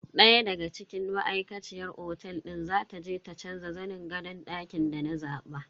Daya daga cikin ma'aikaciyar otel din za ta je ta canza zanin gadon dakin da na zaba.